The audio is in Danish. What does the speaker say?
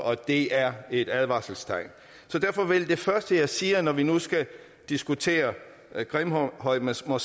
og det er et advarselstegn derfor vil jeg sige at når vi nu skal diskutere grimhøjmoskeen